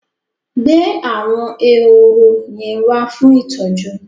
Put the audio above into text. Gbé àwọn ehoro yẹn wá fún ìtọ́jú!